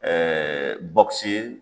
Ɛɛ bɔkisi ye